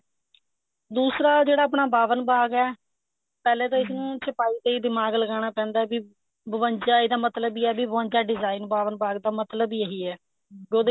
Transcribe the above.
ਦੂਸਰਾ ਜਿਹੜਾ ਆਪਣਾ ਬਾਵਨ ਬਾਗ ਐ ਪਹਿਲੇ ਤਾਂ ਇਸਨੂੰ ਛਪਾਈ ਲਈ ਦਿਮਾਗ ਲਗਾਨਾ ਪੈਂਦਾ ਵੀ ਬਵੰਜਾ ਇਹਦਾ ਮਤਲਬ ਵੀ ਹੈ ਵੀ ਬਵੰਜਾ design ਬਾਵਨ ਬਾਗ ਦਾ ਮਤਲਬ ਈ ਇਹੀ ਹੈ ਉਹਦੇ ਵਿੱਚ